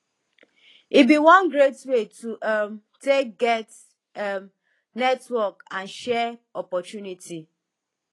e bi one great way to um take get um network and share opportunity